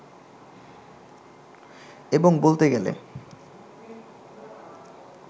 এবং বলতে গেলে